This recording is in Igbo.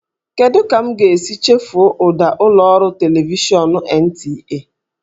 Kedu ka m ga-esi chefuo ụda ụlọ ọrụ televishọn NTA?